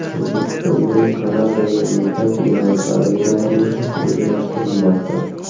O‘zbekistondan Kanadaga mehnat migrantlari yuborilishi rejalashtirilmoqda.